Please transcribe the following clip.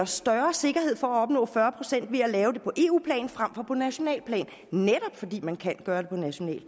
større sikkerhed for at opnå fyrre procent ved at lave det på eu plan frem for på nationalt plan netop fordi man kan gøre det nationalt